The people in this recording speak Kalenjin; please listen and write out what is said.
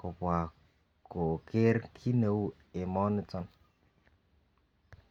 kobwa koker kit neu emoniton.